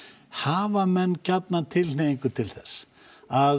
hafa menn gjarnan tilhneigingu til þess að